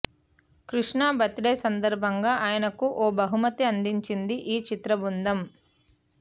Krishna birthday సందర్భంగా ఆయనకు ఓ బహుమతి అందించింది ఈ చిత్రబృందం